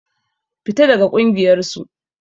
Fita daga ƙungiyar su!